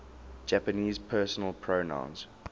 japanese personal pronouns